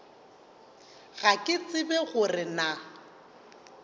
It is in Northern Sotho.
ga ke tsebe gore na